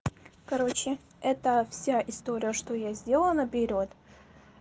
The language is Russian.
короче это вся история что я сделала наперёд